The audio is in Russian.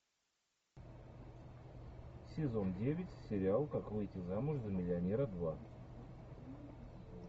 сезон девять сериал как выйти замуж за миллионера два